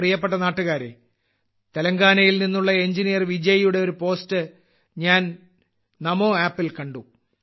എന്റെ പ്രിയപ്പെട്ട നാട്ടുകാരേ തെലങ്കാനയിൽ നിന്നുള്ള എഞ്ചിനീയർ വിജയ്യുടെ ഒരു പോസ്റ്റ് ഞാൻ NaMoAppൽ കണ്ടു